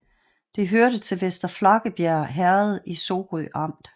Det hørte til Vester Flakkebjerg Herred i Sorø Amt